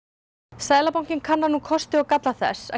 seðlabankinn kannar nú kosti og galla þess að